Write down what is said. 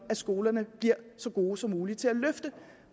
skolerne bliver så gode som muligt til at løfte